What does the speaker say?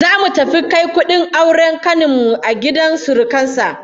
Zamu tafi kai kudin auren kanin mu a gidan surukan sa